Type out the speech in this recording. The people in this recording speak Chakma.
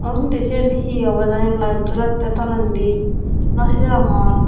undi siyen hee obow jani light jolettey tolendi naw sinongor.